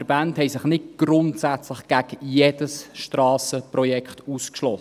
Die Verbände haben sich nicht grundsätzlich gegen jedes Strassenprojekt ausgesprochen;